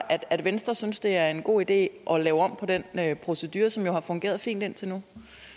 at venstre synes at det er en god idé at lave om på den procedure som jo har fungeret fint indtil nu